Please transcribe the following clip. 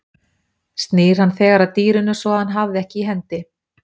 Snýr hann þegar að dýrinu svo að hann hafði ekki í hendi.